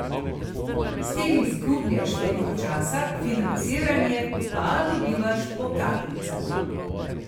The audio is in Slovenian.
S tem izgubljaš veliko časa, financiranje pa dobivaš po kapljicah ...